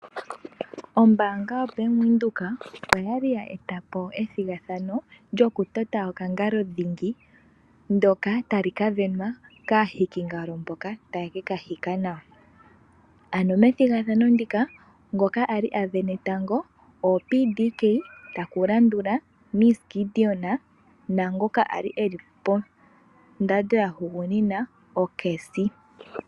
Ombanga ya Bank Windhoek okwali ya etapo ethigathano lyoku tota oka ngalo dhingi, ndyoka talika venwa kaahiki ngalo mboka taya keka hika nawa, ano methigathano ndika ngoka ali avene tango oPDK, taku landula Ms Gideon naangoka ali ponomola ya hugunina o Cazzy.